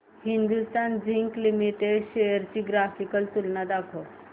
Hindustan zinc limited shares ची graphical तुलना दाखव